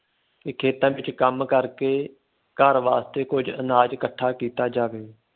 ਕਿ ਖੇਤਾਂ ਵਿਚ ਕੰਮ ਕਰਕੇ ਘਰ ਵਾਸਤੇ ਕੁਝ ਆਨਾਜ਼ ਇੱਕਠਾ ਕੀਤਾ ਜਾਂਦਾ ਜਾਵੇ।